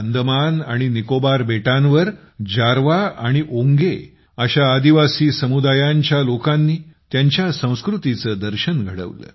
अंदमान आणि निकोबार बेटांवर जारवा आणि ओंगे अशा आदिवासी समुदायांच्या लोकांनी त्यांच्या संस्कृतीचे दर्शन घडविले